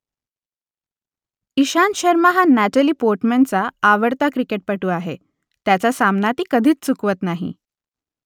इशांत शर्मा हा नॅटली पोर्टमनचा आवडता क्रिकेटपटू आहे त्याचा सामना ती कधीच चुकवत नाही